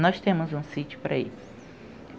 Nós temos um sítio para ir.